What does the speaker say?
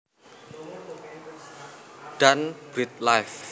dan BirdLife